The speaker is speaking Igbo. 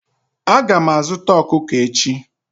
Aga m azuta ọkụkọ echi.